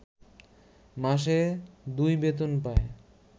মাসে ২ বেতন পায়